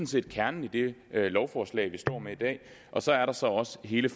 set kernen i det lovforslag vi står med i dag og så er der så også hele